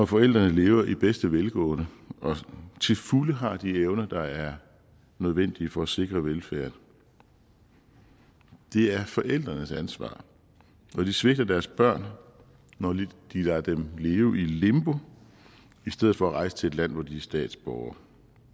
forældrene lever i bedste velgående og til fulde har de evner der er nødvendige for at sikre velfærden det er forældrenes ansvar og de svigter deres børn når de lader dem leve i et limbo i stedet for at rejse til et land hvor de er statsborgere